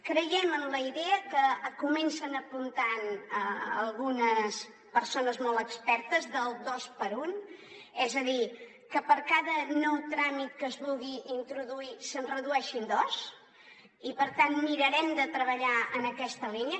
creiem en la idea que comencen a apuntar algunes persones molt expertes del dos per un és a dir que per cada nou tràmit que es vulgui introduir se’n redueixin dos i per tant mirarem de treballar en aquesta línia